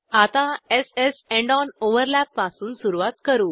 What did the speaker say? आता s स् end on overlap पासून सुरूवात करू